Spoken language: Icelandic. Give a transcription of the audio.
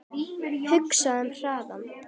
Hugsaðu um hraðann